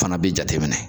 Fana bi jate minɛ